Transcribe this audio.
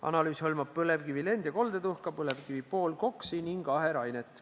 Analüüs hõlmab põlevkivi lend- ja koldetuhka, põlevkivi poolkoksi ning aherainet.